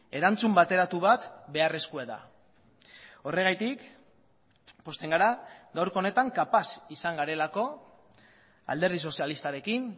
erantzun bateratu bat beharrezkoa da horregatik pozten gara gaurko honetan kapaz izan garelako alderdi sozialistarekin